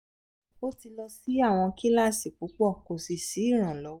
o ti lọ si awọn kilasi pupọ ko si iranlọwọ